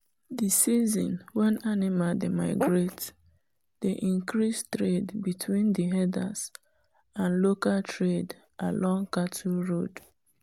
the season wen animal dey migrate dey increase trade between the herders and local trade along cattle road.